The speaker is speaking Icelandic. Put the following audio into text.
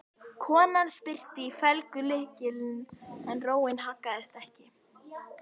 Konan spyrnti í felgulykilinn en róin haggaðist ekki.